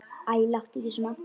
Æ, láttu ekki svona.